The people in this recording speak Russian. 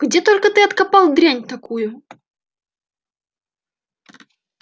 где только ты откопал дрянь такую